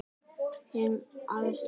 Hin æðsta hönd.